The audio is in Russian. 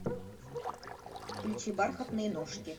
включи бархатные ножки